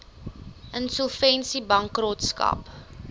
insolvensiebankrotskap